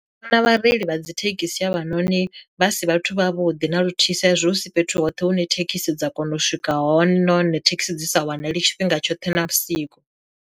Vhona vhareili vha dzi thekhisi havha noni vha si vhathu vha vhuḓi na luthihi sa izwi husi fhethu hoṱhe hune thekhisi dza kona u swika hone hone thekhisi dzi sa wanali tshifhinga tshoṱhe na vhusiku.